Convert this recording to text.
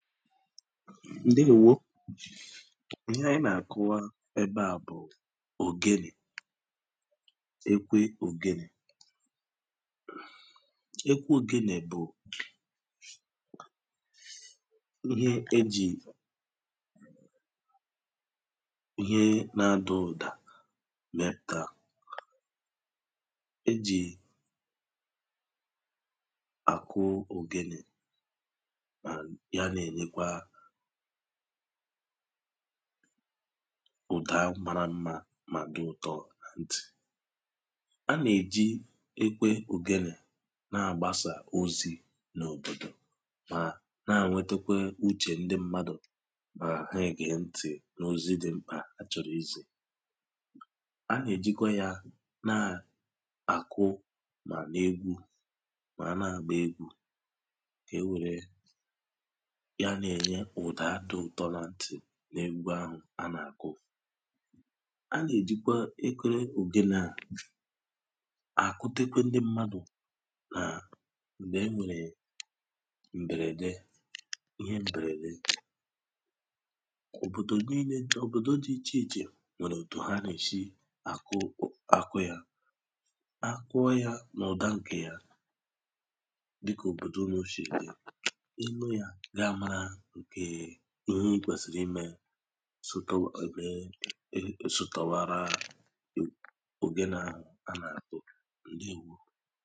ǹdewo ihe ònyònyo à nà-ègosìpụ̀ta ògenè ògenè a nye ọ̀tụtụ ebe di ichè ichè a nà-àkpọ ya ihe àhà ndị ọ̀zọkwa n’àlà ìgbò n’òbòdò anyị ògenè bụ̀ ihe a nà-èji àkpọ òkù àkpọlata uchè ndị mmadù ọ̀kàchà ụmụ̀ nwaànyì ụmụ̀ nwaànyì ndi òbòdò anyị nà-èji ya àkpọ òkù ha akụọ ya onye ọ̀wụlà à gẹ ntì mà marakwa ihe a nà-àchọ ikwu ọ̀wụ̀kwànụ̀ òkù a nà-àkpọ onye ahụ̀ a nà-èjikwe ògenè àgụ egwu a nà-èji ya ènye ụ̀dà dị ụ̀tọ mà a na àgụ egwu a na àkụ ya onye ọwụlà à na-àgba egwu onye na agụ, à na-àgụ ya na àgakọta n’ọ̀tụtụ òbòdò dị ichè ichè a nà-èji ògenè eme ihe ọ̀zọ di ichè ichè a nà-èji ya ème ihe ụzụ dịkà òmenàlà ọwụlà shìrì dị ihe à wụ̀ ihe nọ nà ihe ònyònyo à ògenè ǹdewo